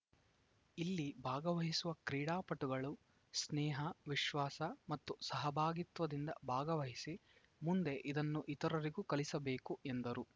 ಇಲ್ಲಿ ಭಾಗವಹಿಸುವ ಕ್ರೀಡಾಪಟುಗಳು ಸ್ನೇಹ ವಿಶ್ವಾಸ ಮತ್ತು ಸಹಭಾಗಿತ್ವದಿಂದ ಭಾಗವಹಿಸಿ ಮುಂದೆ ಇದನ್ನು ಇತರರಿಗೂ ಕಲಿಸಬೇಕು ಎಂದರು